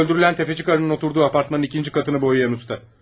Şu öldürülən təfəci qarıının oturduğu apartmanın ikinci qatını boyayan usta.